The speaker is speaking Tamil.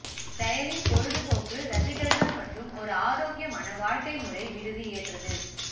செயலில் பொழுதுபோக்கு ரசிகர்கள் மற்றும் ஒரு ஆரோக்கியமான வாழ்க்கை முறை விடுதி ஏற்றது